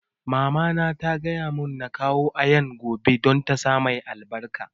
Mama na ta gaya mun na kawo Ayaan gobe don ta sa mai albarka